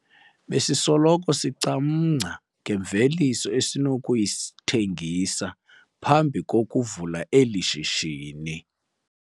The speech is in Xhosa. Besisoloko sicamngca ngemveliso esinokuyithengisa phambi kokuvula eli shishini.